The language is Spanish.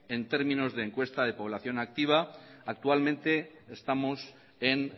en términos de encuesta de población activa actualmente estamos en